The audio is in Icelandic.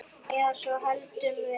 Eða svo héldum við.